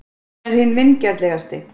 Hann er hinn vingjarnlegasti.